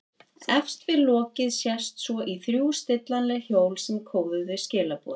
Efst við lokið sést svo í þrjú stillanleg hjól sem kóðuðu skilaboðin.